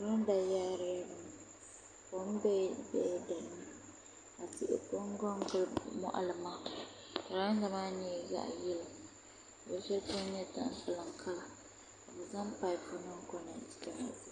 Girada yaarila bini kom biɛla dinni ka tihi konko n gili moɣali maa girada maa nyɛla zaɣ yɛlo ka o shɛli polo nyɛ tampilim ka bi zaŋ paip nim konɛti konɛti